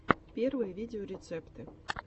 первые видеорецепты